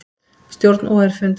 Stjórn OR fundar